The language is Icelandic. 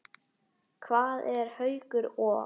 Hvað eru Haukur og